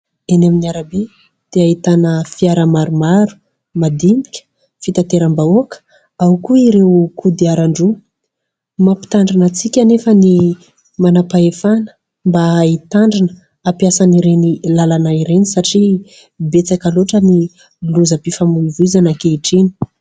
Eny amin'ny arabe dia ahitana fiara maromaro madinika fitanteram-bahoaka ao koa ireo kodiaran-droa. Mampitandrina antsika anefa ny manam-pahefana mba hitandrina hampiasan' ireny lalana ireny satria betsaka loatra ny lozam-pifamoivozana ankehitriny.